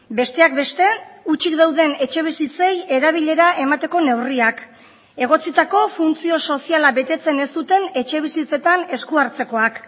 besteak beste hutsik dauden etxebizitzei erabilera emateko neurriak egotzitako funtzio soziala betetzen ez duten etxebizitzetan esku hartzekoak